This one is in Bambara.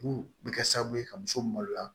Mun bɛ kɛ sababu ye ka muso maloya